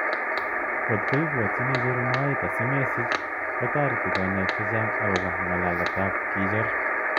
Kotko ipwotchini icheru moet asimesich, ko tareti kanyoik chechang akopo ngalaletap kecheru.